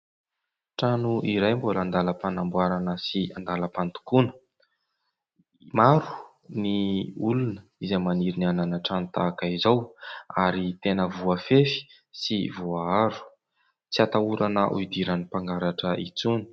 Trano iray mbola an-dalam-panamboarana sy an-dalam-pandokona. Maro ny olona izay maniry ny hanana trano tahak'izao ary tena voafefy sy voaaro ; tsy atahorana hidiran'ny mpangalatra intsony.